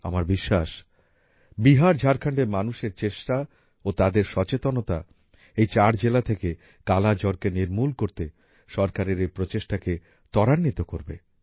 আমার বিশ্বাস বিহার ঝাড়খণ্ডের মানুষের চেষ্টা ও তাদের সচেতনতা এই চার জেলা থেকেও কালা জ্বরকে নির্মূল করতে সরকারের এই প্রচেষ্টাকে ত্বরান্বিত করবে